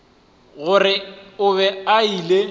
gore o be a ile